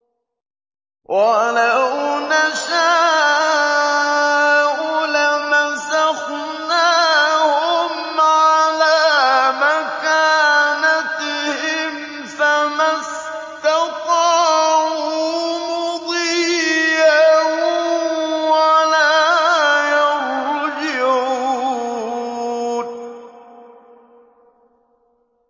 وَلَوْ نَشَاءُ لَمَسَخْنَاهُمْ عَلَىٰ مَكَانَتِهِمْ فَمَا اسْتَطَاعُوا مُضِيًّا وَلَا يَرْجِعُونَ